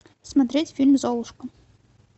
смотреть фильм золушка